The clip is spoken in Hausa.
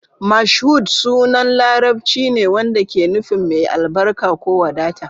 Mashood sunan Larabci ne wanda ke nufin "mai albarka" ko "wadata".